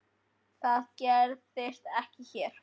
Það gerist ekki hér.